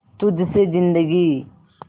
तुझ से जिंदगी